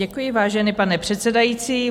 Děkuji, vážený pane předsedající.